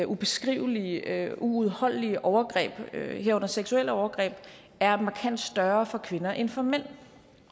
ubeskrivelige uudholdelige overgreb herunder seksuelle overgreb er markant større for kvinder end for mænd